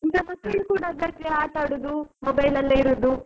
ಈಗ ಕೂಡ ಆಟ ಆಡುದು mobile ಅಲ್ಲೇ ಇರೋದು.